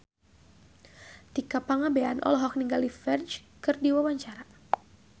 Tika Pangabean olohok ningali Ferdge keur diwawancara